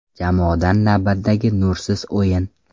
Jamoadan navbatdagi nursiz o‘yin.